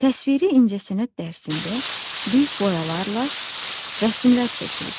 Təsviri incəsənət dərsində biz boyalarla rəsmlər çəkirik.